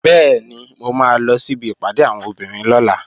Bẹ́ẹ̀ni, mo máa lọ síbi ìpàdé àwọn obìnrin lọ́la